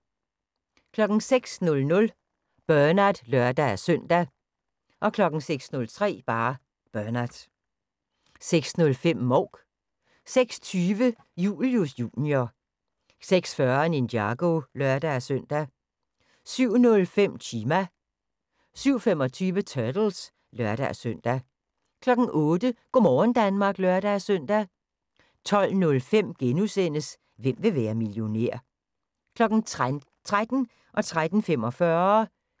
06:00: Bernard (lør-søn) 06:03: Bernard 06:05: Mouk 06:20: Julius Jr. 06:40: Ninjago (lør-søn) 07:05: Chima 07:25: Turtles (lør-søn) 08:00: Go' morgen Danmark (lør-søn) 12:05: Hvem vil være millionær? * 13:00: Danmarks bedste amatørkokke